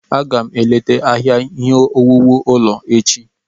Aga m eleta ahịa ihe owuwu ulọ echi.